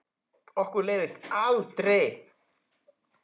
Okkur leiðist aldrei!